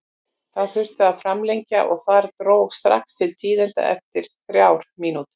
Það þurfti að framlengja og þar dró strax til tíðinda eftir þrjár mínútur.